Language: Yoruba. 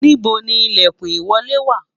níbo ni ilekun ìwọlé wa?